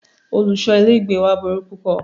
Olùṣọ ilé ìgbé wa burú púpọ̀.